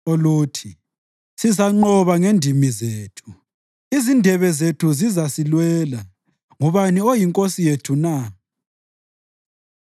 oluthi, “Sizanqoba ngendimi zethu; izindebe zethu zizasilwela ngubani oyinkosi yethu na?”